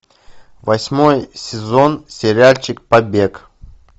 восьмой сезон сериальчик побег